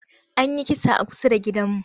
An yi kisa a kusa da gidanmu.